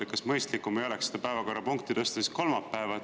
Kas ei oleks mõistlikum tõsta see päevakorrapunkt kolmapäevale?